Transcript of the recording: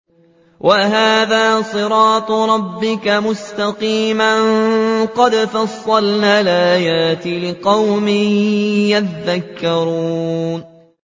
وَهَٰذَا صِرَاطُ رَبِّكَ مُسْتَقِيمًا ۗ قَدْ فَصَّلْنَا الْآيَاتِ لِقَوْمٍ يَذَّكَّرُونَ